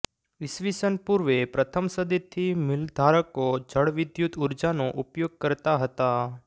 ઇસવિસન પૂર્વે પ્રથમ સદીથી મિલધારકો જળવિદ્યુત ઊર્જાનો ઉપયોગ કરતાં હતાં